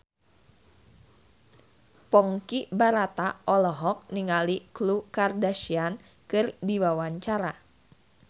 Ponky Brata olohok ningali Khloe Kardashian keur diwawancara